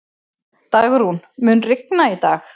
Dagrún, mun rigna í dag?